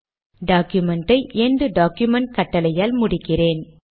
டாக்குமென்டை end document கட்டளையால் முடிக்கிறேன்